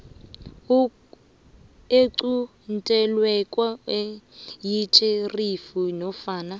equntelweko yitjherifi nofana